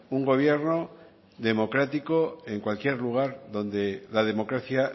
un gobierno democrático en cualquier lugar donde la democracia